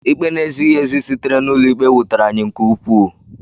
Ikpe na-ezighị ezi sitere n’ụlọikpe wutere anyị nke ukwuu.